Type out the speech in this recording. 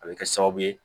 A bɛ kɛ sababu ye